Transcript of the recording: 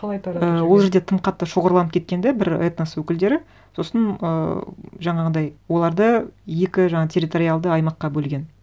қалай таратып жіберген і ол жерде тым қатты шоғырланып кеткен де бір этнос өкілдері сосын ыыы жаңағындай оларды екі жаңа территориалды аймаққа бөлген